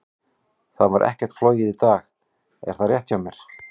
Það var ekkert flogið í dag, er það rétt hjá mér?